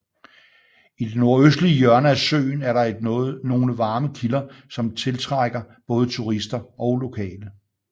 I det nordøstlige hjørne af søen er der et nogle varme kilder som til trækker både turister og lokale